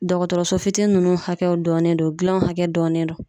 Dɔgɔtɔrɔso fitinin nunnu hakɛ dɔnnen do gilanw hakɛ dɔnnen do